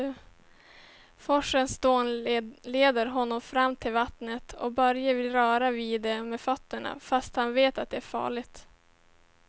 Forsens dån leder honom fram till vattnet och Börje vill röra vid det med fötterna, fast han vet att det är farligt.